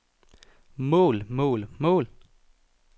mål mål mål